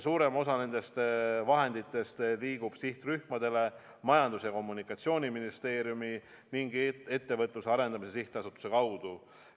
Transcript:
Suurem osa nendest vahenditest liigub sihtrühmadele Majandus- ja Kommunikatsiooniministeeriumi ning Ettevõtluse Arendamise Sihtasutuse kaudu.